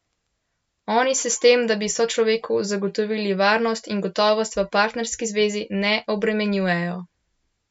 Oni se s tem, da bi sočloveku zagotovili varnost in gotovost v partnerski zvezi, ne obremenjujejo.